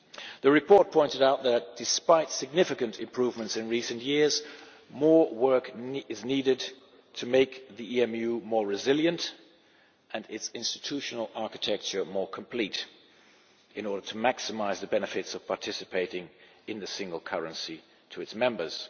The report pointed out that despite significant improvements in recent years, more work is needed to make the EMU more resilient and its institutional architecture more complete in order to maximise the benefits of participating in the single currency to its members.